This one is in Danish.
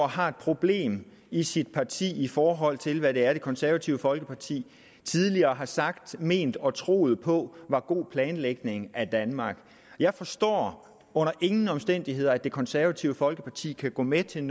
har et problem i sit parti i forhold til hvad det er det konservative folkeparti tidligere har sagt ment og troet på var god planlægning af danmark jeg forstår under ingen omstændigheder at det konservative folkeparti kan gå med til en